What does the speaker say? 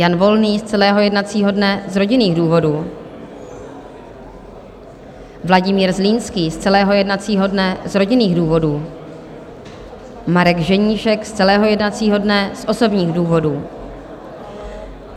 Jan Volný z celého jednacího dne z rodinných důvodů, Vladimír Zlínský z celého jednacího dne z rodinných důvodů, Marek Ženíšek z celého jednacího dne z osobních důvodů.